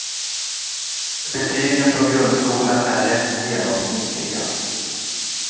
Betygen från grundskolan är rätt genomsnittliga.